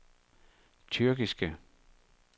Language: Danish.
tyrkiske